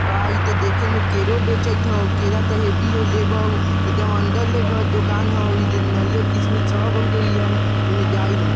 भाई इ ता देखो में केरो बेचत हई केरा ता हैवी हयु लेबउ एकदम अंदर ले घर दुकान हउ नरियर किसमिस सब हउ इहा एकदम जाए ला --